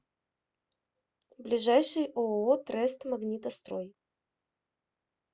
ближайший ооо трест магнитострой